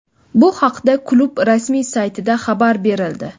Bu haqda klub rasmiy saytida xabar berildi.